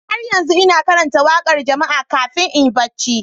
Har yanzu ina karanta waƙar jama'a kafin in yi barci.